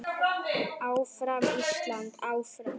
Áfram Ísland, áfram.